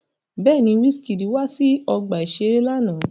Bẹ́ẹ̀ni, Wizkid wá sí ọgbà-ìṣeré lánàá